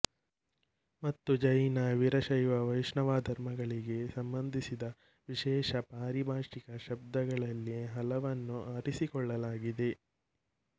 ಮತ್ತು ಜೈನ ವೀರಶೈವ ವೈಷ್ಣವಧರ್ಮಗಳಿಗೆ ಸಂಬಂಧಿಸಿದ ವಿಶೇಷ ಪಾರಿಭಾಷಿಕ ಶಬ್ದಗಳಲ್ಲಿ ಹಲವನ್ನು ಆರಿಸಿಕೊಳ್ಳಲಾಗಿದೆ